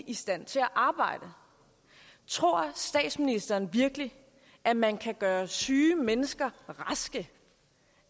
i stand til at arbejde tror statsministeren virkelig at man kan gøre syge mennesker raske